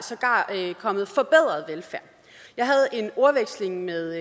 kommet forbedret velfærd jeg havde en ordveksling med